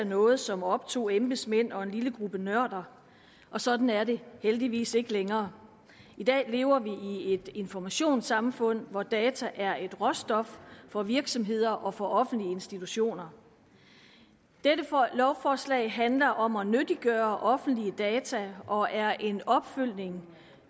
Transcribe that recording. noget som optog embedsmænd og en lille gruppe nørder sådan er det heldigvis ikke længere i dag lever vi i et informationssamfund hvor data er et råstof for virksomheder og for offentlige institutioner dette lovforslag handler om at nyttiggøre offentlige data og er en opfølgning